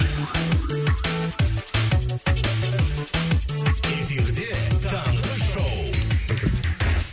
эфирде таңғы шоу